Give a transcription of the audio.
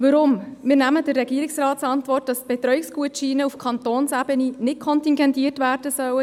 Wir entnehmen der Antwort des Regierungsrats, dass die Betreuungsgutscheine auf Kantonsebene nicht kontingentiert werden sollen.